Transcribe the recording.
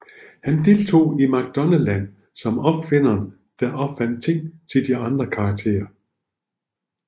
Han deltog i McDonaldland som opfinderen der opfandt ting til de andre karakterer